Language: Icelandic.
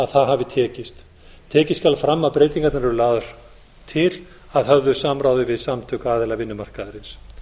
það hafi tekist tekið skal fram að breytingarnar eru lagðar til að höfðu samráði við samtök aðila vinnumarkaðarins